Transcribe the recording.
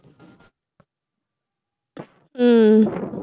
உம்